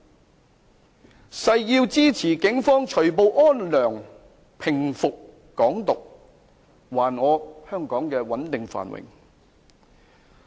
我更誓要支持警方除暴安良，平服"港獨"，還我香港穩定繁榮。